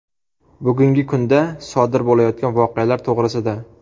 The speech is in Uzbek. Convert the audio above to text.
Bugungi kunda sodir bo‘layotgan voqealar to‘g‘risida.